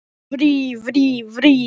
Nú fór hann bara sínar eigin leiðir.